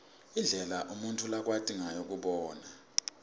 indlela umuntfu lakwati ngayo kubona